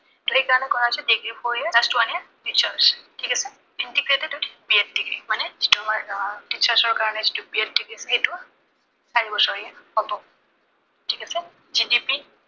সেই কাৰনে কৰা হৈছে degree four year, last one year research ঠিক আছে। integrated with BEd degree মানে যিটো আমাৰ আহ teacher ৰ কাৰনে যিটো BEd degree সেইটো চাৰিবছৰীয়া হব। ঠিক আছে GDP